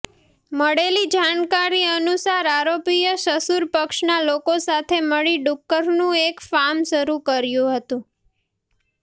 મળેલી જાણકારી અનુસાર આરોપીએ સસુર પક્ષના લોકો સાથે મળી ડુક્કરનું એક ફાર્મ શરૂ કર્યું હતું